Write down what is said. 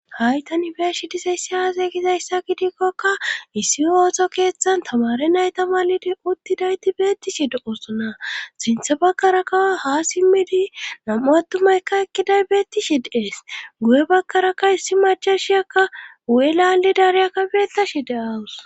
Hayta nibershidisayssi haase gizayssa gidikkokka issi ooso keeththan tamare nayta balidi uttidayti beettishi do7osona sintha bakkara kawo ha simmidi nam7u attumaykka ekkiday beettishi deees guye bakkarakka issi machashiyakka wu7e laali dariyakka beettashi de7awus